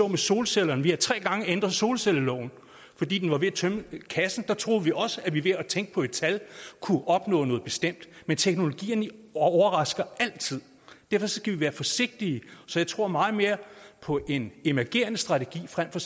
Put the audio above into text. med solcellerne vi har tre gange ændret solcelleloven fordi vi var ved at tømme kassen der troede vi også at vi ved at tænke på et tal kunne opnå noget bestemt men teknologierne overrasker altid derfor skal vi være forsigtige jeg tror meget mere på en emergerende strategi frem for